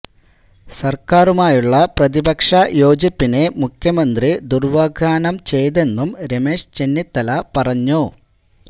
സര്ക്കാറുമായുള്ള പ്രതിപക്ഷ യോജിപ്പിനെ മുഖ്യമന്ത്രി ദുര്വ്യാഖ്യാനം ചെയ്തെന്നും രമേശ് ചെന്നിത്തല പറഞ്ഞു